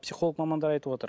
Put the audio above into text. психолог мамандар айтып отыр